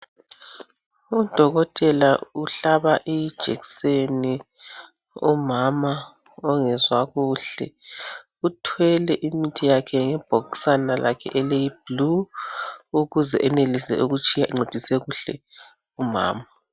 Udokotela uhlaba ijekiseni umama ongezwa kuhle uthwele imithi yakhe ngebhokisana lakhe eliyiblue ukuze enelise ukutshiya encedise kuhle umama